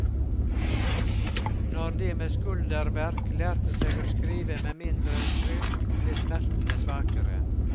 Når de med skulderverk lærte seg å skrive med mindre trykk, ble smertene svakere.